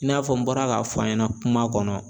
I n'a fɔ n bɔra k'a fɔ a ɲɛna kuma kɔnɔ